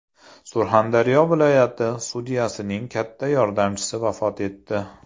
Surxondaryo viloyati sudyasining katta yordamchisi vafot etdi.